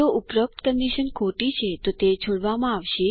જો ઉપરોક્ત કન્ડીશન ખોટી છે તો તે છોડવામાં આવશે